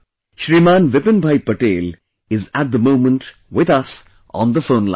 Shriman Vipinbhai Patel is at the moment with us on the phone line